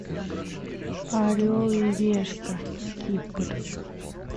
орел и решка кипр